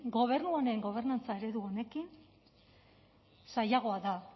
gobernu honen gobernantza eredu honekin zailagoa da